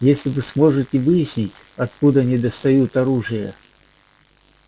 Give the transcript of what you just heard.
если вы сможете выяснить откуда они достают оружие